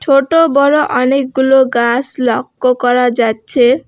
ছোট বড় অনেকগুলো গাস লক্য করা যাচ্ছে।